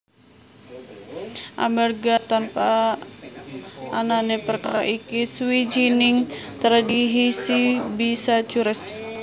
Amerga tanpa anané perkara iki sawijining tradhisi bisa cures